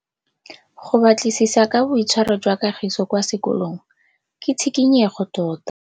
Go batlisisa ka boitshwaro jwa Kagiso kwa sekolong ke tshikinyêgô tota.